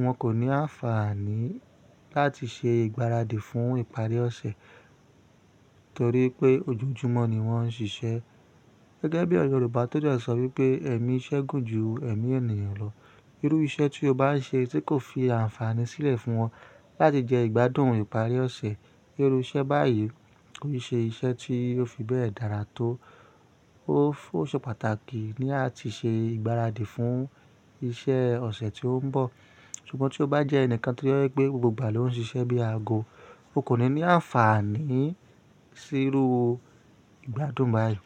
wọn kò ní àǹfààní láti ṣe ìgbáradì fún ìparí ọ̀sẹ̀ torí pé ojoojúmọ́ ni wọ́n ń ṣiṣẹ́. Gẹ́gẹ́ bí ọ̀rọ̀ Yorùbá tó dẹ́ sọ wípé "ẹ̀mí iṣẹ́ gùn ju ẹ̀mí ènìyàn lọ." Irú iṣẹ́ tí o bá ń ṣe tí kò fi àǹfààní sílẹ̀ fún wọn láti jẹ ìgbádùn ìparí ọ̀sẹ̀, irú iṣẹ́ báyìí kò n ṣe iṣẹ́ tí ó fi bẹ́ẹ̀ dára tó. Ó ṣe pàtàkì ní à á ti ṣe ìgbáradì fún iṣẹ́ ọ̀sẹ̀ tí ó ń bọ̀. Ṣùgbọ́n tí o bá jẹ́ ẹnìkan tí ó jẹ pé gbogbo ìgbà ló ń ṣiṣẹ́ bí aago, o kò ní ní àǹfààní sí irú ìgbádùn báyìí.